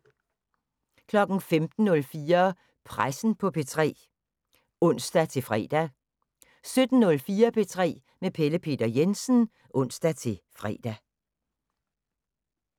15:04: Pressen på P3 (ons-fre) 17:04: P3 med Pelle Peter Jensen (ons-fre)